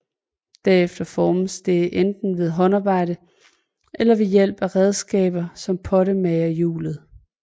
Derefter formes det enten ved håndarbejde eller ved hjælp af redskaber som pottemagerhjulet